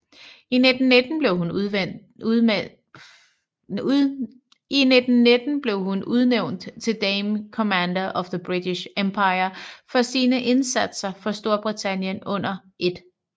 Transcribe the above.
I 1919 blev hun udnævnt til Dame Commander of the British Empire for sine indsatser for Storbritannien under 1